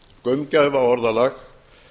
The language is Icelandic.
gaumgæfa orðalag